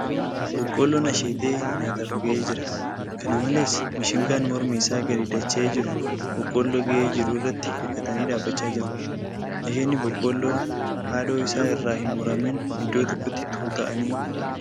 Boqqolloon asheetee nyaataaf ga'ee jira. Kana malees, mishingaan mormi isaa gadi dacha'ee jiru boqqolloo ga'ee jiru irratti hirkatanii dhaabbachaa jiru. Asheetni boqqolloo haadhoo isaa irraa hin muramin iddoo tokkotti tuuta'anii argamu.